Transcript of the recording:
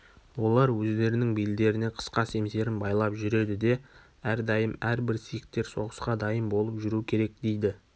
олар өздерінің белдеріне қысқа семсерін байлап жүреді де әрдайым әр-бір сикхтер соғысқа дайын болып жүру керек дейді